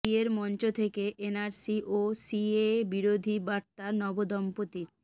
বিয়ের মঞ্চ থেকে এনআরসি ও সিএএ বিরোধী বার্তা নবদম্পতির